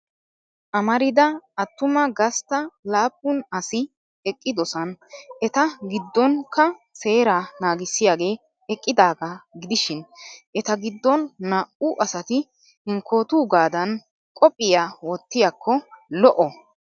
Amarida attuma gastta laapun asi eqqidosona eta giddonkka seeraa naagissiyagee eqqidaagaa gidishin. Eta giddon naa'u asati hinkkootuugadan qophiyaa wottiyakko lo'o.